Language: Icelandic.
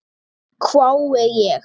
hvái ég.